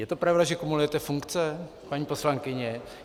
Je to pravda, že kumulujete funkce, paní poslankyně?